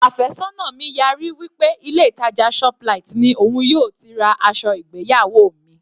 Àfẹ́sọ́nà mi yarí wí pé ilé ìtàjà shoplight ni òun yóò ti ra aṣọ ìgbéyàwó mi.